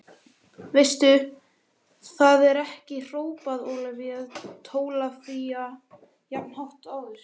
Veistu það ekki hrópaði Ólafía Tólafía jafn hátt og áður.